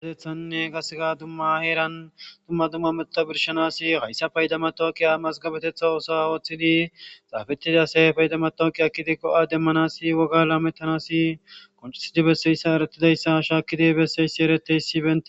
Haysan qaseka dumma dumma heran payda matoqiya xafitiya yafara matokiya ekidi demanas woga lamanas qonccisidi besidaysashakidi besizays eretizaysako